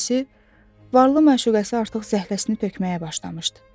İkincisi, varlı məşuqəsi artıq zəhləsini tökməyə başlamışdı.